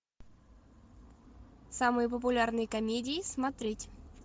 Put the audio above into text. самые популярные комедии смотреть